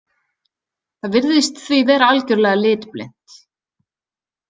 Það virðist því vera algjörlega litblint.